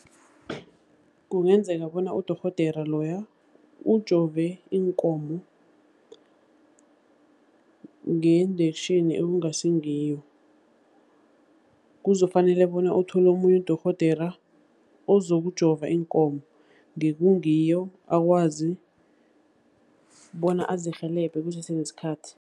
Kungenzeka bona udorhodera loya ujove iinkomo nge-injection ekungasingiyo. Kuzokufanele bona uthole omunye udorhodera, ozokujova iinkomo ngekungiyo akwazi bona azirhelebhe kusese nesikhathi.